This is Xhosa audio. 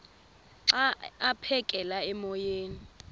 xa aphekela emoyeni